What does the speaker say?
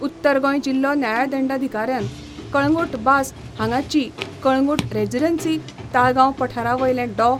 उत्तर गोंय जिल्हो न्यायदंडाधिकाऱ्यान कळंगुट बास हांगाची कळंगुट रेजिडन्सी, ताळगांव पठारावयले डॉ.